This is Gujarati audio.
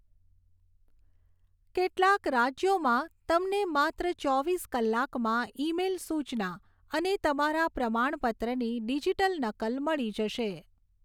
કેટલાંક રાજ્યોમાં તમને માત્ર ચોવીસ કલાકમાં ઇમેઇલ સૂચના અને તમારા પ્રમાણપત્રની ડિજિટલ નકલ મળી જશે.